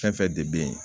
Fɛn fɛn de bɛ yen